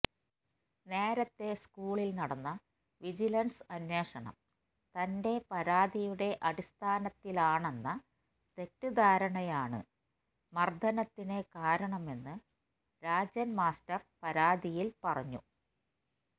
നേരത്തെ സ്കൂളില് നടന്ന വിജിലന്സ് അന്വേഷണം തണ്റ്റെ പരാതിയുടെ അടിസ്ഥാനത്തിലാണെന്ന തെറ്റിദ്ധാരണയാണ് മര്ദ്ദനത്തിന് കാരണമെന്ന് രാജന് മാസ്റ്റര് പരാതിയില് പറഞ്ഞു